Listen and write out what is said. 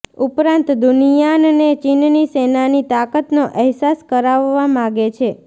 ઉપરાંત દુનિયાનને ચીનની સેનાની તાકતનો અહેસાસ કરાવવા માગે છે